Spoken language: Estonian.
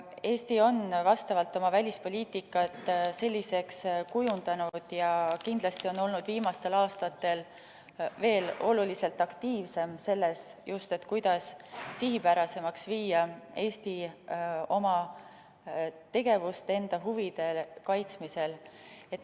Eesti on oma välispoliitikat selliseks kujundanud ja kindlasti on olnud viimastel aastatel veel oluliselt aktiivsem just selles, kuidas teha sihipärasemaks Eesti tegevust enda huvide kaitsmisel.